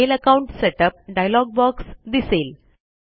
mail account setup dialog box दिसेल